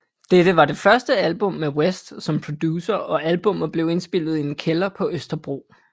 Dette var det første album med West som producer og albummet blev indspillet i en kælder på Østerbro